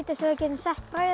getum sett brauð